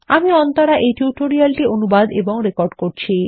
আমি অন্তরা এই টিউটোরিয়াল টি অনুবাদ এবং রেকর্ড করেছি